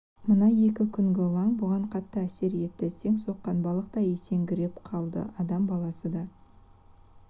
мына екі күнгі лаң бұған қатты әсер етті сең соққан балықтай есеңгіреп қалды адам баласы да